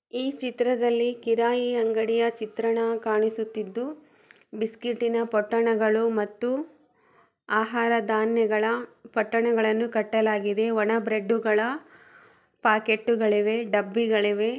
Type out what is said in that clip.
ಈ ಚಿತ್ರದಲ್ಲಿ ಕಿರಾಣಿ ಅಂಗಡಿಯ ಚಿತ್ರಣ ಕಾಣಿಸುತ್ತಾ ಇದ್ದು ಬಿಸ್ಕೆಟಿನ ಪಟ್ಟಣಗಳು ಮತ್ತು ಆಹಾರ ಧಾನ್ಯಗಳ ಪಟ್ಟಣಗಳು ಕಟ್ಟಲಾಗಿದೆ ಹಾಗೂ ಒಣ ಬ್ರೆಡ್ಡುಗಳ ಪಾಕೆಟ್ಟು ಗಳಿವೆ ಡಬ್ಬಿಗಳಿವೆ. ಮೂರು ಬದಿಯಲ್ಲೂ ಕಬ್ಬಿಣದ ರಾಕು ಗಳಿವೆ.